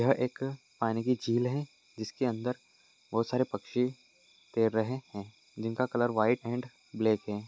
यह एक पानी की झील है। जिसके अंदर बहुत सारे पक्षी तैर रहे हैं। जिनका कलर व्हाइट एण्ड ब्लैक है।